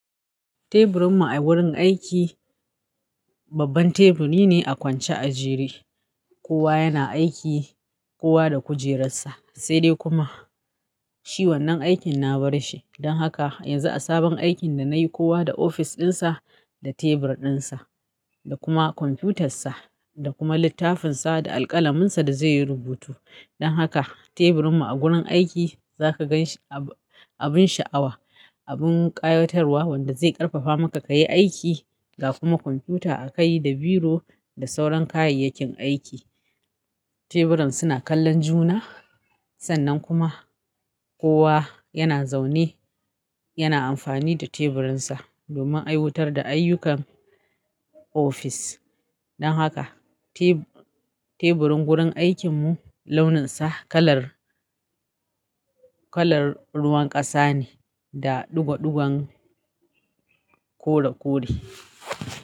Teburin mu a wurin aiki, babban teburi ne a kwance a jere. Kowa yana aiki, kowa da kujerar sa, sai dai kuma shi wannan aikin na bar shi. Don haka yanzu a sabon aikin da na yi, kowa da ofis ɗinsa da tebur ɗinsa, da kuma kwamfuyutar sa, da kuma littafin sa da alƙalamin sa da zai yi rubutu. Don haka teburin mu a gurin aiki za ka gan abun sha'awa, abun ƙayatarwa wanda zai ƙarfafa maka ka yi aiki, ga kuma kwamfiyuta akai da biro da sauran kayayyakin aiki. Teburin suna kallon juna, sannan kuma kowa yana zaune yana amfani da teburin sa domin aiwutar da ayyukan ofis. Don haka teburin gurin aikin mu launin sa kalar, kalar ruwan ƙasa ne da ɗigoɗigon kore kore.